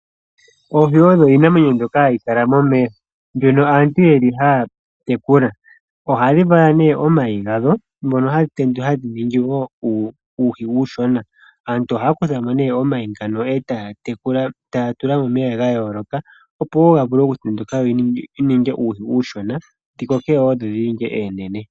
Oohi odho iinamwenyo mbyoka hayi kala momeya mbyono aantu yeli haya tekula oha dhi vala nee omayi gadho ngono haga tendula hadhi ningi wo uuhi uushona. Aantu ohaya kuthamo nee omayi ngano e taya tekula taya tula momeya ga yooloka opo wo ga vule okutenduka go ga ninge uuhi uushona dhi kokewo dho dhi ninge oonene.